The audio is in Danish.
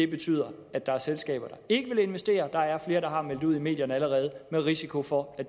betyder at der er selskaber der ikke vil investere der er flere der allerede har meldt det ud i medierne med risiko for at